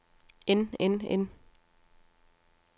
end end end